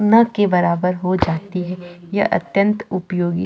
ना के बराबर हो जाती है यह अत्यंत उपयोगी --